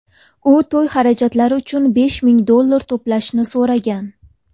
U to‘y xarajatlari uchun besh ming dollar to‘plashni so‘ragan.